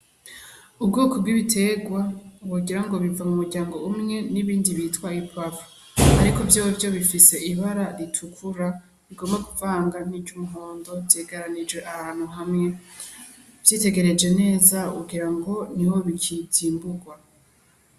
Ubwoko bw'ibitegwa wogira ngo biva mu muryango umwe n'ibindi bitwa ipuwavuro, ariko vyovyo bifise ibara ritukura rigomba kuvanga niry'umuhondo vyegeranirijwe ahantu hamwe uvyitegereje neza wogira ngo niho bikicimbugwa.